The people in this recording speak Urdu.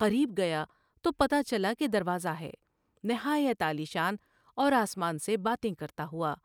قریب گیا تو پتہ چلا کہ دروازہ ہے ، نہایت عالی شان اور آسمان سے باتیں کرتا ہوا ۔